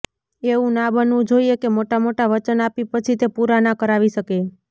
એવું ના બનવું જોઈએ કે મોટા મોટા વચન આપી પછી તે પૂરાં ના કરાવી શકે